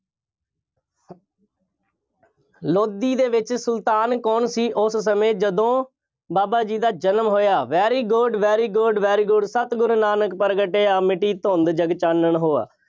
ਲੋਧੀ ਦੇ ਵਿੱਚ ਸੁਲਤਾਨ ਕੌਣ ਸੀ ਉਸ ਸਮੇਂ ਜਦੋਂ ਬਾਬਾ ਜੀ ਦਾ ਜਨਮ ਹੋਇਆ। very good, very good, very good ਸਤਿਗੁਰ ਨਾਨਕ ਪ੍ਰਗਟਿਆ, ਮਿੱਟੀ ਧੁੰਧ ਜਗ ਚਾਨੁਣ ਹੋਆ।